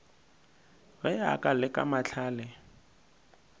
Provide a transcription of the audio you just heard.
ge a ka leka mahlale